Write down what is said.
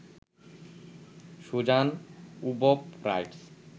Suzanne ওবব rights